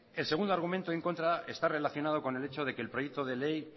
el segundo argumento en contra está relacionado con el echo de que el proyecto de ley